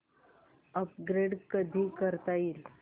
upgrade कधी करता येईल